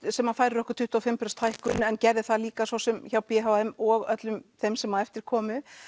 sem að færir okkur tuttugu og fimm prósent hækkun en gerði það líka svo sem hjá b h m og öllum þeim sem að eftir komu